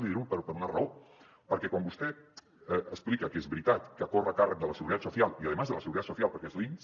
l’hi dic per una raó perquè quan vostè explica que és veritat que corre a càrrec de la seguridad social y además de la seguridad social perquè és l’inss